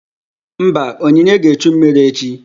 Mba, onyinye ga-echu mmiri echi